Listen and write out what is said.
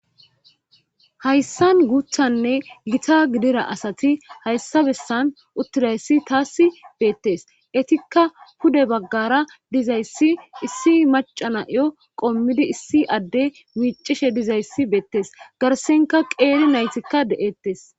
hayssan guuthanne gita gidira asati hayssabessan uttidayssi taassi beettes etikka pude baggara dizayssi issi macanayo qommidi issi adde miicishe dizayssi beettes garsenka qeeli naytikka de7ettes